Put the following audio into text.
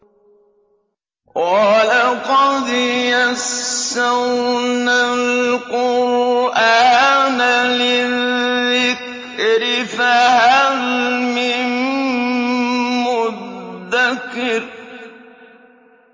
وَلَقَدْ يَسَّرْنَا الْقُرْآنَ لِلذِّكْرِ فَهَلْ مِن مُّدَّكِرٍ